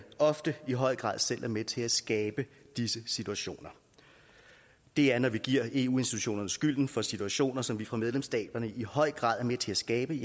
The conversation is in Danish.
ofte i høj grad selv er med til at skabe disse situationer det er når vi giver eu institutionerne skylden for situationer som vi fra medlemsstaternes i høj grad er med til skabe